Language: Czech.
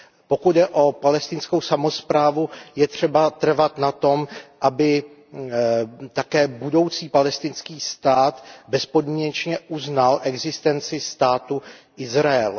Pokud jde o palestinskou samosprávu, je třeba trvat na tom, aby taky budoucí palestinský stát bezpodmínečně uznal existenci státu Izrael.